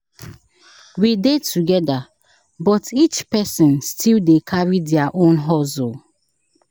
We dey together, but each person still dey carry their own hustle.